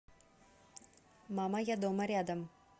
мама я дома рядом